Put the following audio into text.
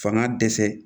Fanga dɛsɛ